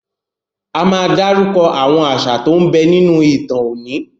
A máa dárúkọ àwọn àṣà tó ń bẹ nínú ìtàn oní.